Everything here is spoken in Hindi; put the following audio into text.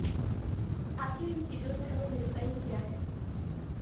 आखिर इन चीजों से हमें मिलता ही क्या है